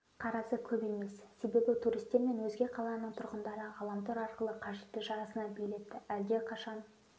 қарасы көп емес себебі туристер мен өзге қаланың тұрғындары ғаламтор арқылы қажетті жарысына билеттерді әлдеқашан